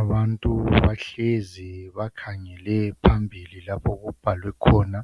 Abantu bahlezi bakhangele phambili lapho okubhalwe khona